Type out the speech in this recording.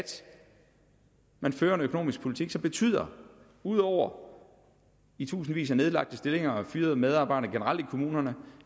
man fører en økonomisk politik som betyder udover i tusindvis af nedlagte stillinger og fyrede medarbejdere generelt i kommunerne